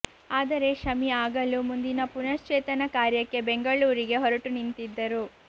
ಆದರೆ ಶಮಿ ಆಗಲೂ ಮುಂದಿನ ಪುನಶ್ಚೇತನ ಕಾರ್ಯಕ್ಕೆ ಬೆಂಗಳೂರಿಗೆ ಹೊರಟು ನಿಂತಿದ್ದರು